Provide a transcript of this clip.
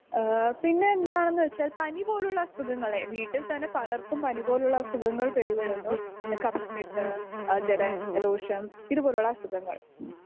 speaker 2 ഏഹ് പിന്നെ എന്താണെന്ന് വെച്ച പനി പോലുള്ള അസുഖങ്ങളെ വീട്ടിൽ തന്നെ പലർക്കും പനി പോലുള്ള അസുഖങ്ങൾ പെരിവിടുന്നു ആ കഫക്കെട്ട് ആ ജല ദോഷം ഇതുപോലുള്ള അസുഖങ്ങൾ